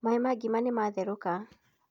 Maĩ ma ngima nĩmatherũka